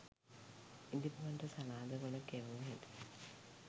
ඉදිබුවන්ට සලාද කොළ කැවු හැටි